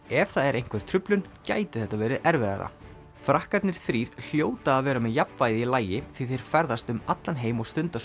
ef það er einhver truflun geti þetta verið erfiðara frakkarnir þrír hljóta að vera með jafnvægið í lagi því þeir ferðast um allan heim og stunda